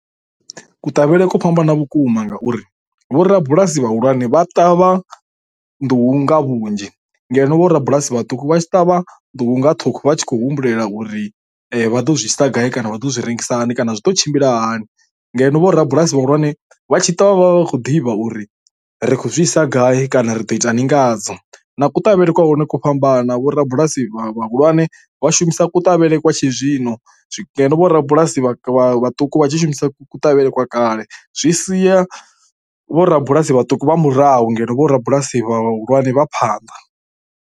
Kuṱavhele kwo fhambana vhukuma ngauri vhorabulasi vhahulwane vha ṱavha nḓuhu nga vhunzhi ngeno vhorabulasi vhaṱuku vha tshi ṱavha nḓuhu nga ṱhukhu vha tshi khou humbulela uri vha ḓo zwi ita gai kana vha ḓo zwi rengisa hani kana zwi ḓo tshimbila hani. Ngeno vhorabulasi vhahulwane vha tshi tou vha vha vha khou ḓivha uri ri zwisa gai kana ri ḓo itani ngadzo, na kuṱavhele kwa hune ku fhambana vho rabulasi vhahulwane vha shumisa kuṱavhele kwa tshi zwino vh rabulasi vhaṱuku vha tshi shumisa kuṱavhele kwa kale. Zwi sia vhorabulasi vhaṱuku vha murahu ngeno vhorabulasi vhahulwane vha phanḓa.